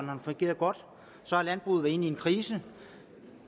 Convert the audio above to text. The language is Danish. så har landbruget været inde i en krise og